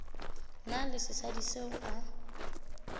na le sesadi seo a